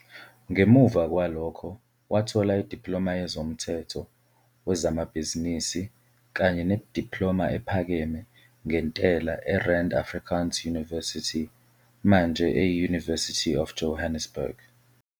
Ngemuva kwalokho, wathola idiploma yezomthetho wezamabhizinisi kanye nediploma ephakeme ngentela eRand Afrikaans University, manje eyi-University of Johannesburg.